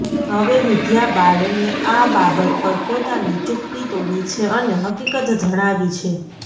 હવે વિદ્યા બાલને આ બાબત પર પોતાની ચુપ્પી તોડી છે અને હકીકત જણાવી છે